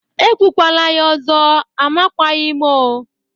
Ekwukwala ya ọzọ. Amakwaghi m o